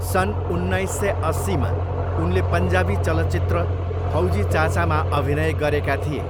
सन् उन्नाइस सय अस्सीमा उनले पन्जाबी चलचित्र फौजी चाचामा अभिनय गरेका थिए।